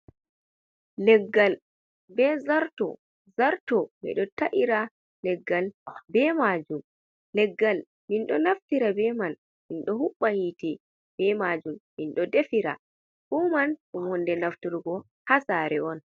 Leggal be zarto. Zarto, ɓe ɗo ta’ira leggal be majum. Leggal min ɗo naftira be man min ɗo huɓɓa hite be majum, min ɗo defira. Fuuman ɗum hunde nafturgo ha sare on.